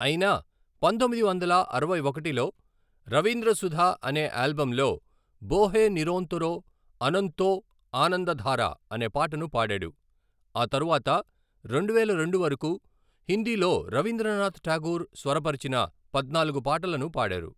అయినా పంతొమ్మిది వందల అరవై ఒకటిలో రవీంద్ర సుధ అనే ఆల్బమ్ లో 'బోహే నిరోంతోరో ఆనంతో ఆనందధారా' అనే పాటను పాడాడు, ఆ తరువాత రెండువేల రెండు వరకు హిందీలో రవీంద్రనాథ్ ఠాగూర్ స్వరపరిచిన పద్నాలుగు పాటలను పాడారు.